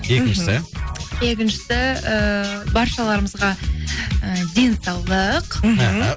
екіншісі екіншісі ііі баршаларымызға і денсаулық мхм